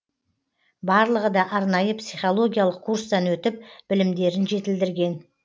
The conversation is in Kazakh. барлығы да арнайы психологиялық курстан өтіп білімдерін жетілдірген